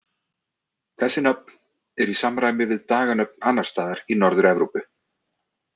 Þessi nöfn eru í samræmi við daganöfn annars staðar í Norður-Evrópu.